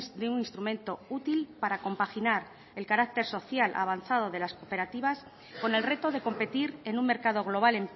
de un instrumento útil para compaginar el carácter social avanzado de las cooperativas con el reto de competir en un mercado global